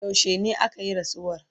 yaushene akayi rasuwar?